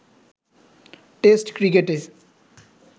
test ক্রিকেটে